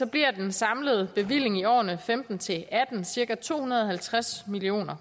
bliver den samlede bevilling i årene og femten til atten cirka to hundrede og halvtreds million